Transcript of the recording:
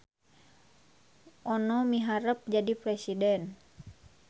Ono miharep jadi presiden